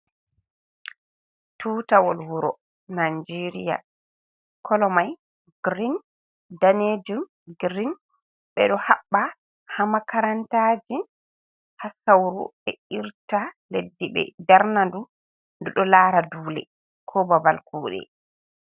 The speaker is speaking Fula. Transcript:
Tutawol wuro najeria kolo mai girin danejum girin. Ɓeɗo haɓɓa ha makarantaji ha sauru ɓe irta leddi be darna ndu, ndu ɗo lara dule ko babal kuɗe.